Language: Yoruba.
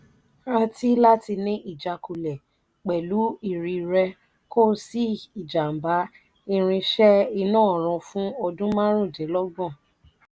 rati láti ni ìjákulẹ̀ pelu ìrì rẹ kò sí ijamba irin se iná ọrùn fún ọdún marun dín logbon